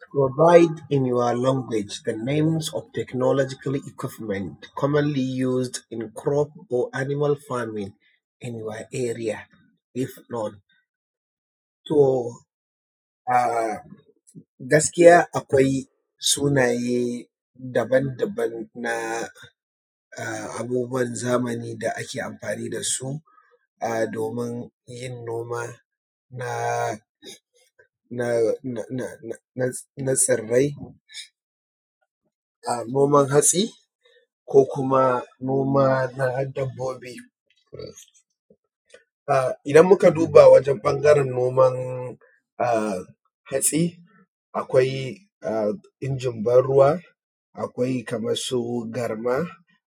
To provide in your language the name's of technological equipment commonly use in crop or animal farming in your area if not. To a gaskiya akwai sunaye daban daban na abubuwan zamani da ake amfani da su a domin yin noma na tsirai, a noman hatsi, ko kuma noma na dabobi. A idan muka duba wajan ɓangaren noman hatsi akwai injin ban ruwa, akwai kamar su garma,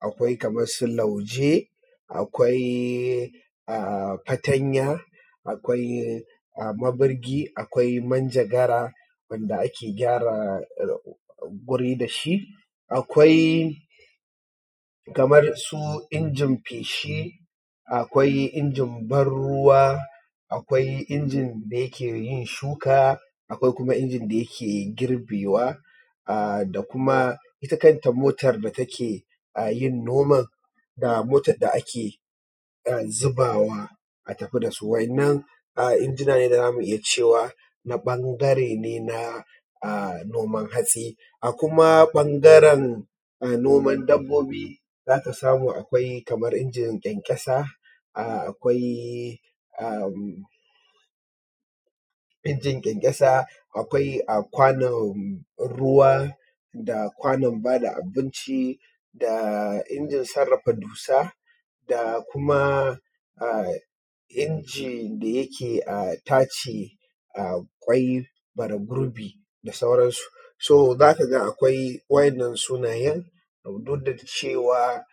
akwai kamar su lauje, akwai fatanya, akwai ma birgi, akwai manjagara wanda ake gyara wuri da shi, akwai kamar su innin feshi, akwai injin ban ruwa, akwai injin da yake yin shuka, akwai kuma injin da yake girbewa, a da kuma ita kanta motar da ta ke yin nomar da motar da ake zubawa a tafi da su. Wa'inan injina ne da za mu iya cewa na ɓangare ne na noman hatsi. A kuma ɓangaran noman dabobi zaka samu akwai injin ƙyanƙyasa, akwai a kwanon ruwa, da kwanon ba da abinci, da injin sarrafa dusa, da kuma injin da yake tace ƙwai fara gurbi da sauransu. so za kaga akwai wa'inan sunayen duk da cewa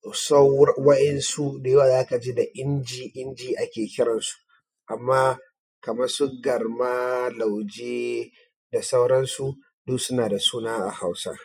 kusan wa'insu da yawa za ka ji da inji inji ake kiran su, amma kamar su garma, lauje da sauransu duk suna da suna a hausa.